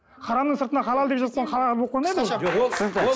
харамның сыртына халал деп жазсаң халал болып қалмайды ол түсінікті